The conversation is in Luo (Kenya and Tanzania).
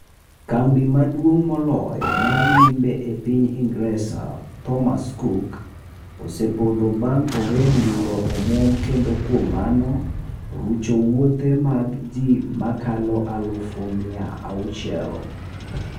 Kambi maduong' moloyo mar limbe e piny ingresa ,Thomas cook ,osepodho bang' orem yudo omwom kendo kuom mano, rucho wuothe mag ji makalo aluf mia auchiel.